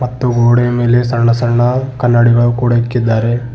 ಮತ್ತು ಗೋಡೆ ಮೇಲೆ ಸಣ್ಣ ಸಣ್ಣ ಕನ್ನಡಿಗಳು ಕೂಡ ಇಕ್ಕಿದ್ದಾರೆ.